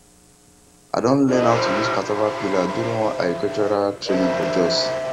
i don learn how to use cassava peeler during one agricultural training for jos